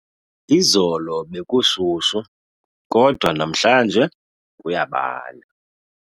Izolo bekushushu kodwa namhlanje kuyabanda.